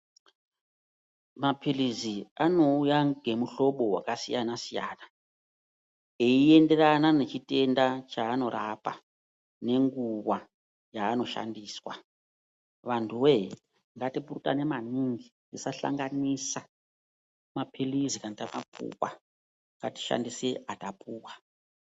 Mapilizi anouya ngemuhlobo wakasiyana siyana eienderana nechitenda chaanorapa nenguwa yaanoshandiswa. Vantuwe ngatipurutane maningi tisahlanganisa mapilizi kana tamapuwa ngatishandise atapuwa.